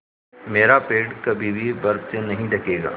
मेरा पेड़ कभी भी बर्फ़ से नहीं ढकेगा